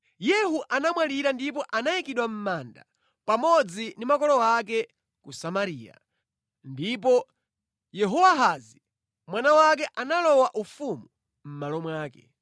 Yehu anamwalira ndipo anayikidwa mʼmanda pamodzi ndi makolo ake ku Samariya. Ndipo Yehowahazi mwana wake analowa ufumu mʼmalo mwake.